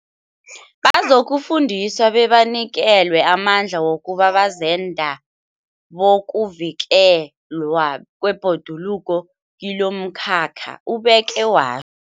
Bazokufundiswa bebanikelwe amandla wokuba bazenda bokuvikelwa kwebhoduluko kilomkhakha, ubeke wa